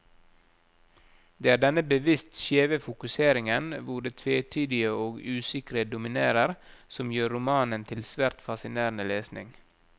Det er denne bevisst skjeve fokuseringen, hvor det tvetydige og usikre dominerer, som gjør romanen til svært fascinerende lesning.